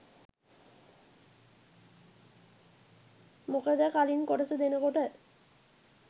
මොකද කලින් කොටස දෙනකොට